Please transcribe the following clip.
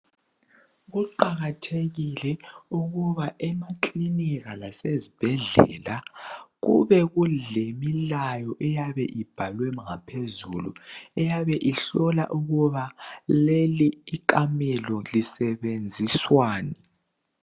Kuqakathekile ukuba emakilinika lasezibhedlela kube kulemilayo eyabe ibhalwe ngaphezulu eyabe ihlola ukuba leli ikamela lisebenziswani